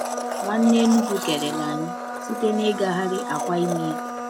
Nwanne Enugwu kelere anyị site n’ịgagharị akwa imi ya.